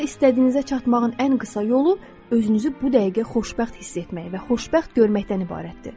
Həyatda istədiyinizə çatmağın ən qısa yolu özünüzü bu dəqiqə xoşbəxt hiss etmək və xoşbəxt görməkdən ibarətdir.